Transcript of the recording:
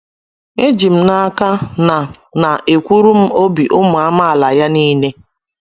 Ejim n’aka na na ekwuru m obi ụmụ amaala ya nile. ”